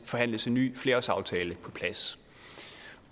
forhandles en ny flerårsaftale på plads